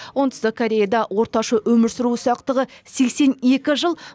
оңтүстік кореяда орташа өмір сүру ұзақтығы сексен екі жыл